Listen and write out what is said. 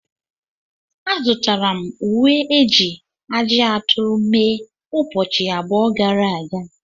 Azụtara m uwe eji ajị aturu mee ụbọchị abụọ gara aga.